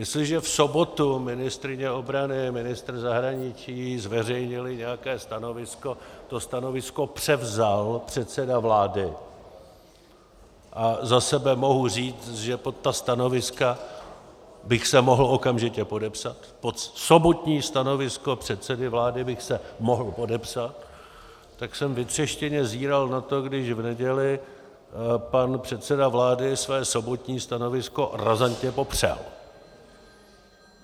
Jestliže v sobotu ministryně obrany, ministr zahraničí zveřejnili nějaké stanovisko, to stanovisko převzal předseda vlády, a za sebe mohu říct, že pod ta stanoviska bych se mohl okamžitě podepsat, pod sobotní stanovisko předsedy vlády bych se mohl podepsat, tak jsem vytřeštěně zíral na to, když v neděli pan předseda vlády své sobotní stanovisko razantně popřel.